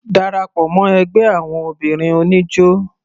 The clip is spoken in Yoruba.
Darapọ̀ mọ́ ẹgbẹ́ àwọn obìnrin oníjó.